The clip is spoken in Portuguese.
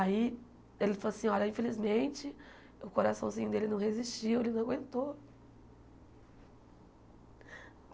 Aí, ele falou assim, olha, infelizmente... O coraçãozinho dele não resistiu, ele não aguentou.